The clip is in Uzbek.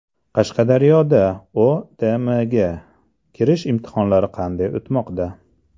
Qashqadaryoda OTMga kirish imtihonlari qanday o‘tmoqda?.